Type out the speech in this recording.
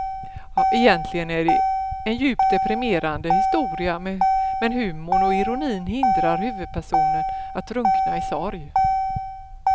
Egentligen är det en djupt deprimerande historia men humorn och ironin hindrar huvudpersonen att drunkna i sorg.